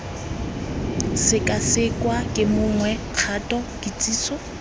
sekasekwa ke mongwe kgato kitsiso